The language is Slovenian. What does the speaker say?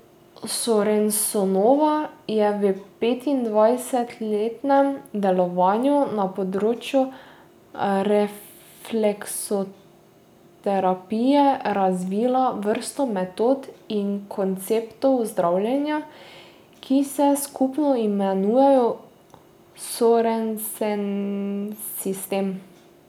Sorensenova je v petindvajsetletnem delovanju na področju refleksoterapije razvila vrsto metod in konceptov zdravljenja, ki se skupno imenujejo Sorensensistem.